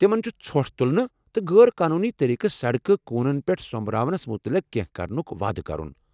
تمن چھُ ژھۄٹھ تُلنہٕ تہٕ غٲر قونوٗنی طٔریٖقہٕ سڑکہِ كوٗنن پٮ۪ٹھ سو٘مبراونس متعلق کینہہ كرنُک وعدٕ کرُن۔